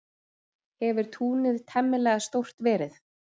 Hefur túnið temmilega stórt verið.